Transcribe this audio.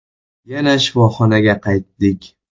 Yana shifoxonaga qaytdik.